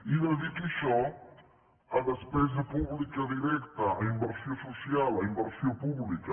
i dediqui això a despesa pública directa a inversió so·cial a inversió pública